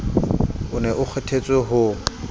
o ne o kgethwe ho